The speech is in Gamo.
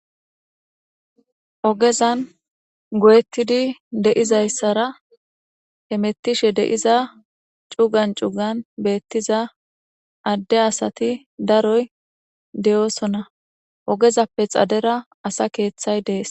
ogezan goyettidi deizayssara he mettishe deiza cugan cugan beettiza adde asati daroy deyoosona ogezappe xadera asa keeththay dees